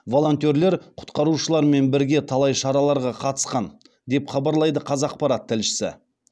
волонтерлер құтқарушылармен бірге талай шараларға қатысқан деп хабарлайды қазақпарат тілшісі